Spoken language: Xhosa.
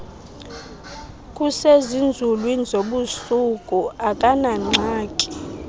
kusezinzulwini zobusuku akanangxaki